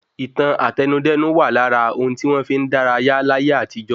Ìtàn Àtẹnudẹ́nu wà lára ohun tí wọ́n fi n dárayá láyé àtijọ.